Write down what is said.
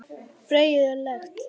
bergið er lekt.